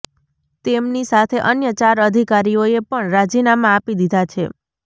તેમની સાથે અન્ય ચાર અધિકારીઓએ પણ રાજીનામાં આપી દીધા છે